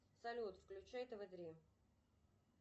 салют включай тв три